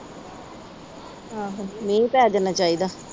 ਆਹੋ ਮੀਂਹ ਪੈ ਜਾਣਾ ਚਾਹੀਦਾ।